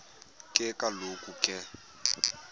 ke kaloku ke